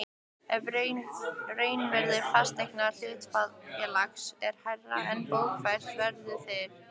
ef raunvirði fasteigna hlutafélags er hærra er bókfært verð þeirra.